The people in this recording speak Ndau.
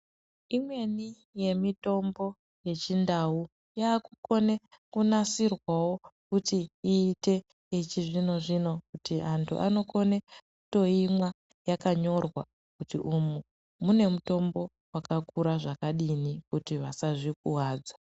Imweni yemitombo yechindau yakukone kunasirwawo kuti iite yechi zvino zvino kuti andu ano kone kuto imwa yakanyorwa kuti umu mune mutombo waka kura zvakadini kuti vasazvi kuvadza.